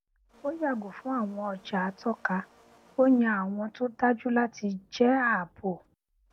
ó yàgò fún àwọn ọjà àtọka ó yan àwọn tó dájú láti jẹ ààbò